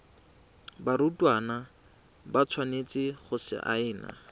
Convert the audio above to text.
barutwana ba tshwanetse go saena